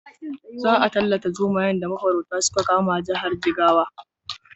Za a ttallata zomayen da mafaurata suka kama jihar Jigawa.